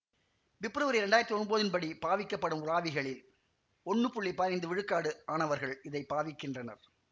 பெப்ரவரி இரண்டு ஆயிரத்தி ஒன்போதின் படி பாவிக்கப்படும் உலாவிகளில் ஒன்னு புள்ளி பதினைந்து விழுக்காடு ஆனவர்கள் இதை பாவிக்கின்றனர்